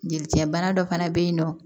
Jelicɛbana dɔ fana bɛ yen nɔ